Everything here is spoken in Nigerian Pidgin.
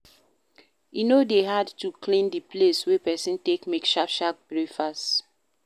E no dey hard to clean di place wey person take make sharp sharp break fast